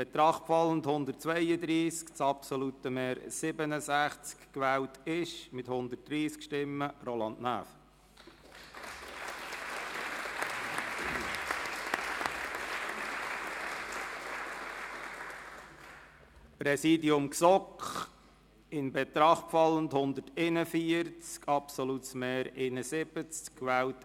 Bei 155 ausgeteilten und 155 eingegangenen Wahlzetteln, wovon leer 16 und ungültig 5, in Betracht fallend 132, wird bei einem absoluten Mehr von 67 gewählt: